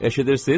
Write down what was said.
Eşidirsiz?